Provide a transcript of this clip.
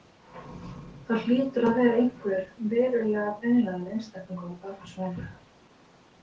Það hlýtur að vera einhver verulega brenglaður einstaklingur á bak við svona lagað.